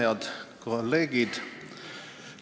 Head kolleegid!